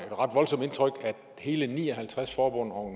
hele ni og halvtreds forbund og